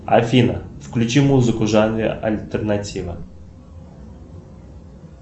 афина включи музыку в жанре альтернатива